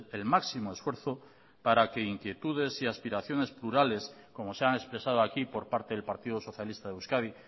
el máximo esfuerzo para que inquietudes y aspiraciones plurales como se han expresado aquí por parte del partido socialista de euskadi